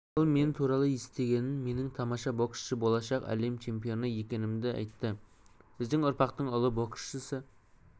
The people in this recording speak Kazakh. ол мен туралы естігенін менің тамаша боксшы болашақ әлем чемпионы екенімді айтты біздің ұрпақтың ұлы боксшысы